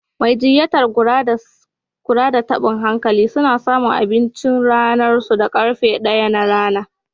Majinyatan kula da tabin hankali suna samun abinchin ranan su da karfe ɗaya na rana.